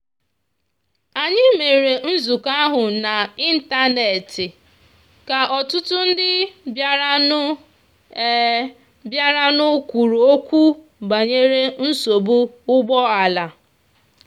anyị mere nzukọ ahụ n'ịntanet ka ọtụtụ ndị bịaranụ bịaranụ kwuru okwu banyere nsogbu ụgbọala.